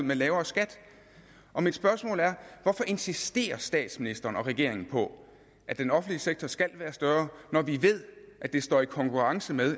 med lavere skat mit spørgsmål er hvorfor insisterer statsministeren og regeringen på at den offentlige sektor skal være større når vi ved at det står i konkurrence med